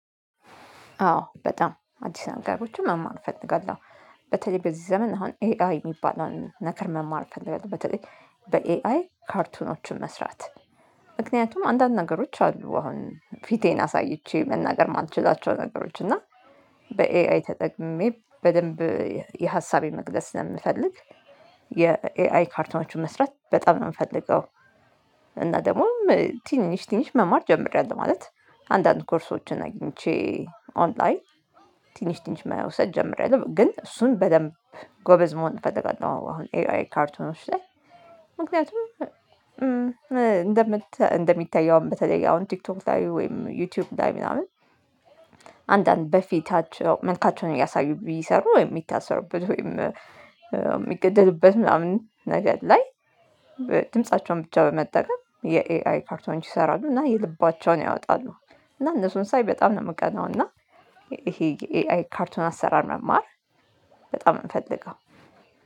አዎ በጣም አዲስ ነገሮችን መማር እፈልጋለሁ። በተለይ በዚህ ዘመን አሁን ኤአይ የሚባለውን ነገር መማር እፈልጋለሁ በተለይ በኤአይ ካርቱኖችን መስራት። ምክንያቱም አንዳንድ ነገሮች አሉ አሁን ፊቴን አሳይቼ መናገር የማልችላቸው ነገሮች እና በኤአይ ተጠቅሜ በደንብ የሀሳቤ መግለጽ ስለምፈልግ የኤአይ ካርቱኖችሁን መስራት በጣም ነው የምፈልገው። እና ደግሞ ትንሽ ትንሽ መማር ጀምሬያለሁ ማለት አንዳንድ ኮርሶችን አግኝቼ ኦንላይን ትንሽ ትንሽ መውሰድ ጀመሬያለሁ ግን እሱን በደንብ ጎበዝ መሆን እፈልጋለሁ። አሁን ኤአይ ካርቱኖች ላይ ምክንያቱም እንደምታ እንደሚታየውም በተለይ አሁን ቲክቶክ ላይ ወይም ዩቲዩብ ላይ ምናምን አንዳንድ በፊታቸው መልካቸውን እያሳዩ ቢሰሩ የሚታሰሩበት ወይም የሚገደሉበት ምናምን ነገር ላይ ድምፃቸውን ብቻ በመጠቀም የኤአይ ካርቱኖች ይሰራሉ እና የልባቸውን ያወጣሉ። እና እነሱን ሳይ በጣም ነው የምቀናው እና ይሄ የኤአይ ካርቱን አሰራር መማር በጣም የምፈልገው